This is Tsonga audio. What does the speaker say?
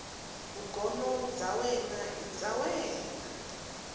vugono bya wena i bya